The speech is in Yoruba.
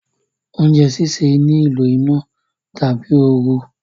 oúnjẹ síṣe ní ìlò iná tàbí ooru